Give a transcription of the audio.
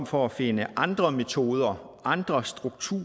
for at finde andre metoder andre strukturer